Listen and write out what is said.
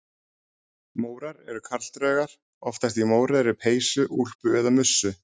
Mórar eru karldraugar, oftast í mórauðri peysu, úlpu eða mussu.